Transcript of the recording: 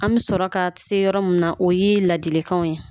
An bɛ sɔrɔ ka se yɔrɔ min na o ye ladilikanw ye